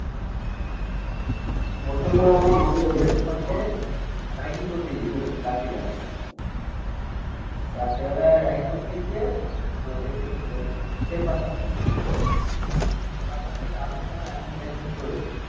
ছেলের সঙ্গে রাইডিং করতে গিয়েছিল রাত্রিবেলা রাত্রিবেলায় রাইড করতে গিয়ে তোর এতে গেছিল. ওই শের পাঞ্জাব শের পাঞ্জাব থেকে আসার সময় অ্যাক্সিডেন্ট ট্যাক্সিডেন্ট করেছে